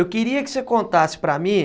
Eu queria que você contasse para mim...